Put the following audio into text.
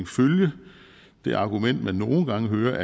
følge det argument man nogle gange hører